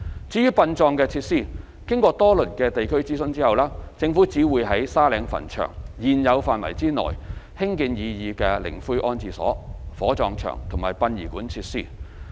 至於殯葬設施，經過多輪地區諮詢後，政府只會在沙嶺墳場現有範圍內興建擬議的靈灰安置所、火葬場和殯儀館設施。